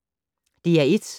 DR1